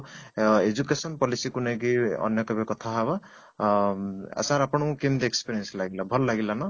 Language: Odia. ଅଂ education policy କୁ ନେଇକି ଆମେ କେବେ କଥା ହେବା ଅଂ sir ଆପଣ ଙ୍କୁ କେମିତି experience ଲାଗିଲା ଭଲ ଲାଗିଲା ନା